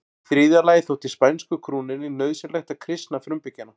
Í þriðja lagi þótti spænsku krúnunni nauðsynlegt að kristna frumbyggjana.